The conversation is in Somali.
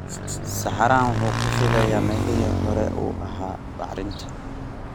Saxarahaan wuxuu ku fidayaa meelihii horey u ahaa bacrinta.